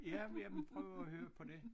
Ja jamen prøv at hør på det